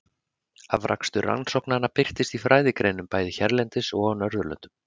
Afrakstur rannsóknanna birtist í fræðigreinum bæði hérlendis og á Norðurlöndunum.